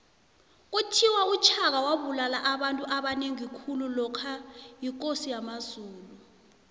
kuthiwa ushaka wabulala abantu abanengi khulu lokha yikosi yamazulu